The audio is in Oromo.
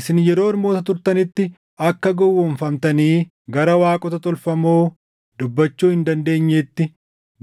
Isin yeroo ormoota turtanitti akka gowwoomfamtanii gara waaqota tolfamoo dubbachuu hin dandeenyeetti